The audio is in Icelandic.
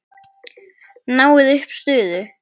Náið upp suðu.